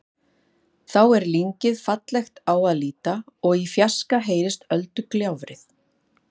Þá er lyngið fallegt á að líta og í fjarska heyrist öldugjálfrið.